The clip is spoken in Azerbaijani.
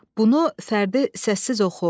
Bunu fərdi səssiz oxu.